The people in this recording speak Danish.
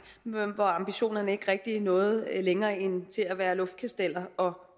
men hvor ambitionerne ikke rigtig nåede længere end til at være luftkasteller og